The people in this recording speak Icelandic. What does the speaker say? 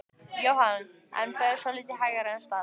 Jóhann: En fer svolítið hægar af stað?